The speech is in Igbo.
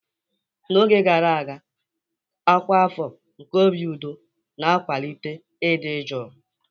N'oge gara aga, ọkwa afọ nke obi udo na-akwalite ịdị jụụ.